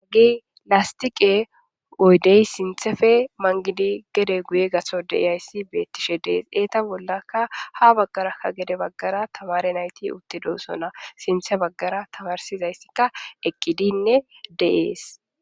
haggi lastiqe oydey sinthefe mangidi gede guye gaso deyayssi beettishe dees eeta bollakka ha baggarakka gede baggara tamare nayti utte doosona sinthe baggara tabarsizayssikka eqqidinne deees